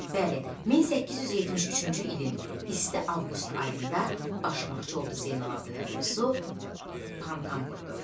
Bəli, 1873-cü ilin isti avqust ayında başmaqçı oldu Zeynalabidinin quyusu fontan vurdu.